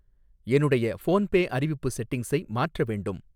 என்னுடைய ஃபோன்பே அறிவிப்பு செட்டிங்ஸை மாற்ற வேண்டும்.